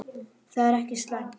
Það er ekki slæmt.